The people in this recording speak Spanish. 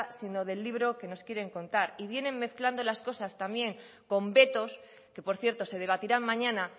sino del libro que nos quieren contar y vienen mezclando las cosas con vetos que por cierto se debatirán mañana